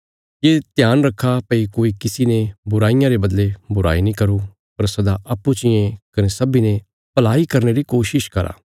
ये ध्यान रखा भई कोई किसी ने बुराईयां रे बदले बुराई नीं करो पर सदा अप्पूँ चियें कने सब्बीं ने भलाई करने री कोशिश करा